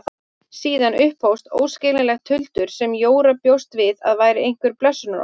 Síðan upphófst óskiljanlegt tuldur sem Jóra bjóst við að væri einhver blessunarorð.